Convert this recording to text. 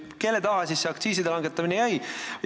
Või kelle taha aktsiiside langetamine ikkagi jäi?